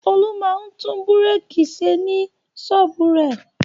Olú máa ń tún búrékì ṣe ní ṣọ́ọ́bù rẹ̀.